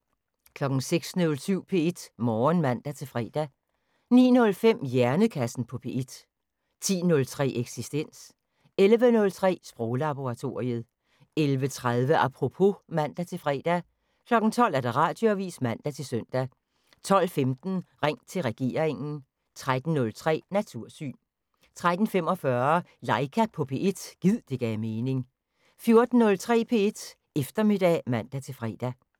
06:07: P1 Morgen (man-fre) 09:05: Hjernekassen på P1 10:03: Eksistens 11:03: Sproglaboratoriet 11:30: Apropos (man-fre) 12:00: Radioavisen (man-søn) 12:15: Ring til regeringen 13:03: Natursyn 13:45: Laika på P1 – gid det gav mening 14:03: P1 Eftermiddag (man-fre)